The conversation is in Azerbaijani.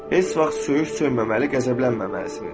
Heç vaxt söyüş söyməməli, qəzəblənməməlisiniz.